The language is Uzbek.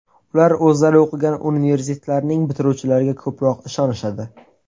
Ular o‘zlari o‘qigan universitetlarning bitiruvchilariga ko‘proq ishonishadi.